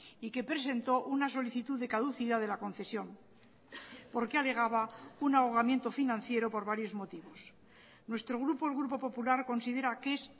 y que presentó una solicitud de caducidad de la concesión porque alegaba un ahogamiento financiero por varios motivos nuestro grupo el grupo popular considera que es